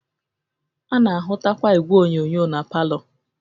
A na-ahụtakwa igwe onyonyo na palọ